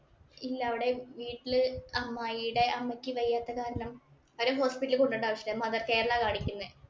ഇല്ല. അവിടെ വീട്ടില് അമ്മായിടെ അമ്മയ്ക്ക് വയ്യാത്ത കാരണം അവരെ hospital ഇലില്‍ കൊണ്ടു പോകേണ്ട ആവശ്യമില്ല. അവരെ mother care ഇലാ കാണിക്കുന്നേ.